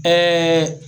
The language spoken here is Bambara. Ɛɛ